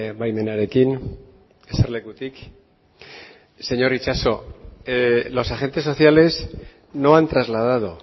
baimenarekin eserlekutik señor itxaso los agentes sociales no han trasladado